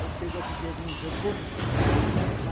Ela pegou a tigelinha e jogou no chão.